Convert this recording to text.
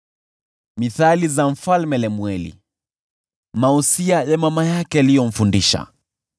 Misemo ya Mfalme Lemueli, usia wa mama yake aliyomfundisha: